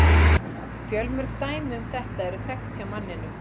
Fjölmörg dæmi um þetta eru þekkt hjá manninum.